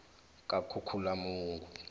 kakhukhulamungu